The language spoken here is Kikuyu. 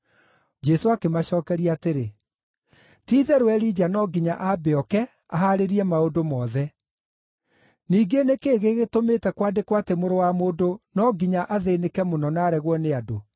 Jesũ akĩmacookeria atĩrĩ, “Ti-itherũ Elija no nginya ambe ooke ahaarĩrie maũndũ mothe. Ningĩ nĩ kĩĩ gĩgĩtũmĩte kwandĩkwo atĩ Mũrũ wa Mũndũ no nginya athĩĩnĩke mũno na aregwo nĩ andũ?